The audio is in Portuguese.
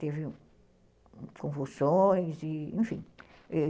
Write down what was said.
Teve convulsões, e, enfim.